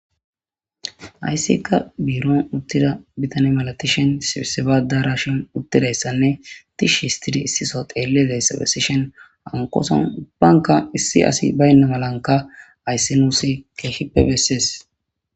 Haysika biiron uttida bitana malatishin,sibisaba addarashan uttidaysanne tishshi histidi issi soho xeellizaysa gidishin ,hankoson ubbanka hara asi baynaysa haysi nuus kehippe besees.